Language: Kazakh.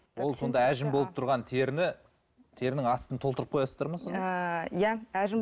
ол сонда әжім болып тұрған теріні терінің астын толтырып қоясыздар ма сонда ыыы иә әжім